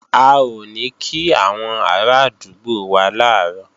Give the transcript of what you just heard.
A ò ní kí àwọn arádúgbò wá làárọ̀